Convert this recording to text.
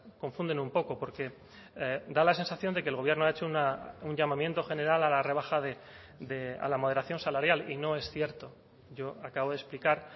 confunden un poco porque da la sensación de que el gobierno ha hecho un llamamiento general a la rebaja a la moderación salarial y no es cierto yo acabo de explicar